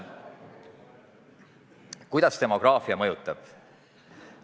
Kuidas demograafia mõjutab?